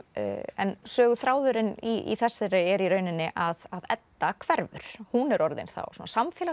en söguþráðurinn í þessari er í rauninni að Edda hverfur hún er orðin þá